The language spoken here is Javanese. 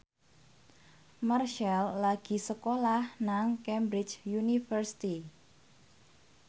Marchell lagi sekolah nang Cambridge University